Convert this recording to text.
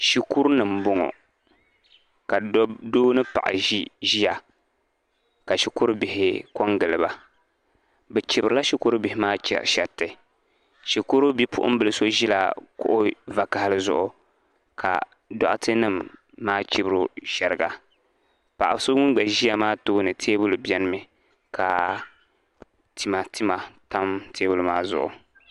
Shikuru ni mbɔŋɔ ka doo ni paɣa ziya ka shikuru bahi ko n gili ba bi chibiri la shikuru bihi maa shɛriti shikuru bipuɣin so bila zila kuɣu vakahali zuɣu ka dɔɣitɛ nima maa chibiri o shɛriga paɣa so ŋuni gba ziya maa tooni tɛɛbuli bɛni mi ka tima tima tam tɛɛbuli maa zuɣu.